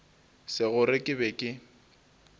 se gore ke be ke